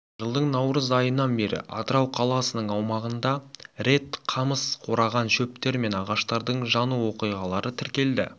жылдың наурыз айынан бері атырау қаласының аумағында рет қамыс қураған шөптер мен ағаштардың жану оқиғалары тіркелді